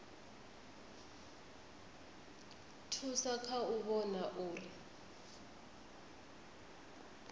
thusa kha u vhona uri